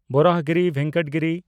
ᱵᱚᱨᱟᱦᱚᱜᱤᱨᱤ ᱵᱷᱮᱝᱠᱚᱴᱟ ᱜᱤᱨᱤ